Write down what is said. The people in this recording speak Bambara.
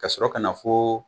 Kasɔrɔ ka na fo